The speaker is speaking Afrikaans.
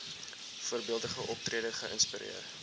voorbeeldige optrede geïnspireer